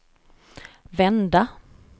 vända